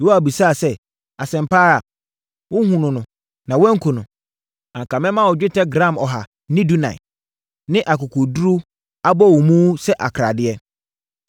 Yoab bisaa sɛ, “Asɛm pa ara? Wohunuu no na woanku no? Anka mɛma wo dwetɛ gram ɔha ne dunan (114) ne akokoɔduru abɔwomu sɛ akradeɛ.”